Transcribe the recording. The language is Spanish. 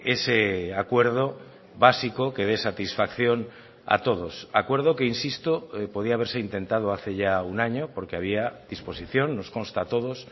ese acuerdo básico que dé satisfacción a todos acuerdo que insisto podía haberse intentado hace ya un año porque había disposición nos consta a todos